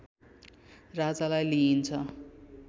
राजालाई लिइन्छ